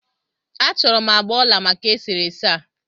A chọrọ m agbà ọla maka e sere ese a.